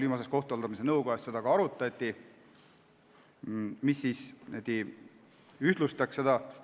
Viimases kohtute haldamise nõukojas seda arutati.